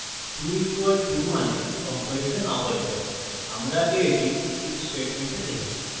2 = to means comparison operator আমরা আগে এটি if statement দেখেছি